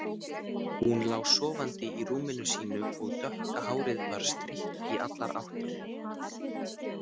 Hún lá sofandi í rúminu sínu og dökka hárið var strítt í allar áttir.